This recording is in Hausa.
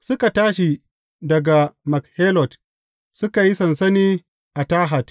Suka tashi daga Makhelot, suka yi sansani a Tahat.